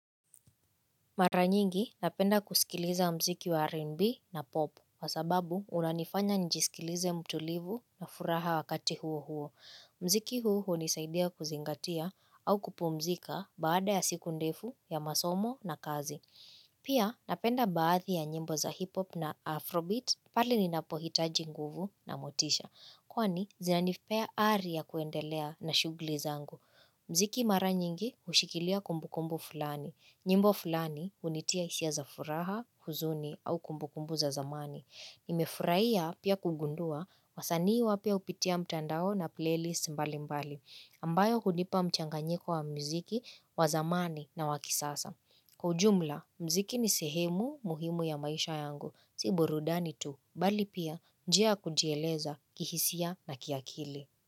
Mara nyingi napenda kusikiliza mziki wa R&B na popu kwa sababu unanifanya njisikilize mtulivu na furaha wakati huo huo. Mziki huu unisaidia kuzingatia au kupumzika baada ya siku ndefu ya masomo na kazi. Pia napenda baadhi ya njimbo za hipop na afrobeat pale ninapohitaji nguvu na motisha. Kwani zinanipea ari ya kuendelea na shughuli zangu. Mziki mara nyingi ushikilia kumbukumbu fulani. Nyimbo fulani unitia hisia za furaha, huzuni au kumbukumbu za zamani. Nimefurahia pia kugundua wasanii wapya upitia mtandao na playlist mbali mbali. Ambayo hunipa mchanganyiko wa mziki, wa zamani na wa kisasa. Kwa ujumla, mziki ni sehemu muhimu ya maisha yangu. Si burudani tu, bali pia njia ya kujieleza kihisia na kiakili.